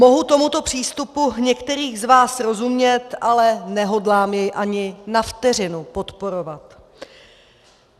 Mohu tomuto přístupu některých z vás rozumět, ale nehodlám jej ani na vteřinu podporovat.